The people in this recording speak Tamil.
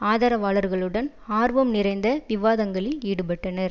ஆதரவாளர்களுடன் ஆர்வம் நிறைந்த விவாதங்களில் ஈடுபட்டனர்